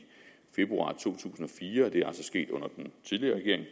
februar to tusind og fire og det er altså sket under den tidligere regering